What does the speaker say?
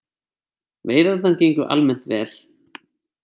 Veiðarnar gengu almennt vel